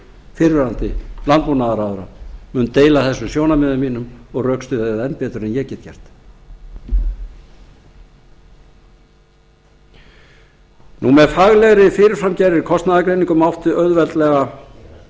fyrrverandi landbúnaðarráðherra mun deila þessum sjónarmiðum mínum og rökstyðja þau enn betur en ég get gert með faglegri fyrirframgerðri kostnaðargreiningu mátti auðveldlega